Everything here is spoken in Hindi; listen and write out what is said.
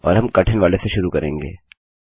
और हम कठिन वाले से शुरू करेंगे